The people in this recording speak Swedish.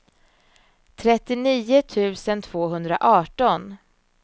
trettionio tusen tvåhundraarton